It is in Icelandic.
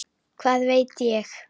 Hvað veit ég?